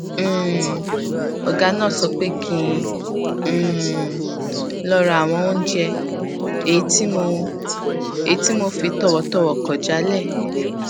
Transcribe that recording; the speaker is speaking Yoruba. um ògá náà sọ pé kí um n lọ ra àwọn oúnjẹ èyí tí mo èyí tí mo fi tọwọtọwọ kò jálè